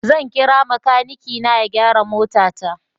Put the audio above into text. Zan kira makanikina ya gyara motata.